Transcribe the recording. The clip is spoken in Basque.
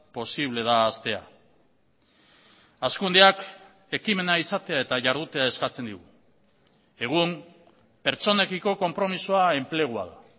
posible da haztea hazkundeak ekimena izatea eta jardutea eskatzen digu egun pertsonekiko konpromisoa enplegua da